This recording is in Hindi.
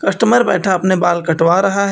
कस्टमर बैठा अपने बाल कटवा रहा है।